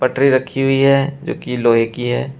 रखी हुई है जो की लोहे की है।